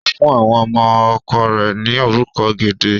Ó fún àwọn ọmọ ọkọ rẹ̀ ni orúkọ gidi.